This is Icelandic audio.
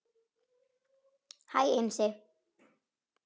Hæ Einsi